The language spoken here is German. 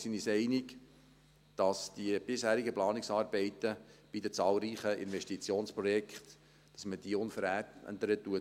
Wir sind uns einig, dass wir die bisherigen Planungsarbeiten bei den zahlreichen Investitionsprojekten unverändert fortsetzen werden.